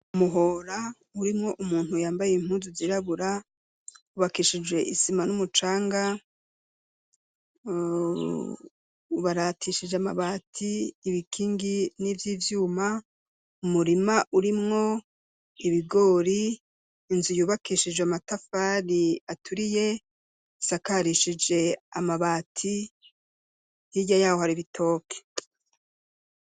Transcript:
Umuhora urimwo umuntu yambaye impuzu zirabura hubakishijwe Isima numucanga .Ubaratishije amabati inkingi n'izivyuma umurima urimwo ibigori .Inzu yubakishije amatafari aturiye isakarishije amabati hirya yaho hari ibitoki.